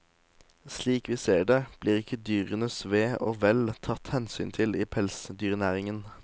Slik vi ser det, blir ikke dyrenes ve og vel tatt hensyn til i pelsdyrnæringen.